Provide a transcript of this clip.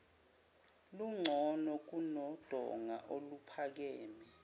lungcono kunodonga oluphakeme